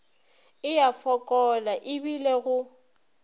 e a fokola ebile go